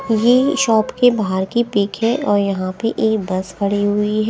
यह शॉप के बाहर की पिक है और यहां पे एक बस खड़ी हुई है।